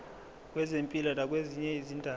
kwezempilo nakwezinye izindaba